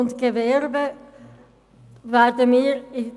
Kommissionssprecherin der FiKo-Mehrheit.Betreffend